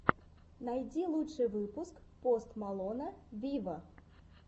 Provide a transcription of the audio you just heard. найди лучший выпуск пост малона виво